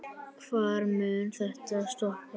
Hvar mun þetta stoppa?